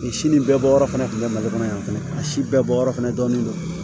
Si nin bɛɛ bɔyɔrɔ fana kun be mali kɔnɔ yan fɛnɛ a si bɛɛ bɔyɔrɔ fana dɔɔni don